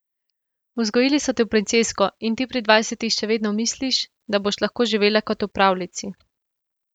Vzgojili so te v princesko in ti pri dvajsetih še vedno misliš, da boš lahko živela kot v pravljici.